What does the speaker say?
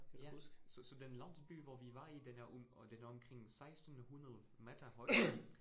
Ja, så så den landsby, hvor vi var i, den er den er omkring 1600 meter høj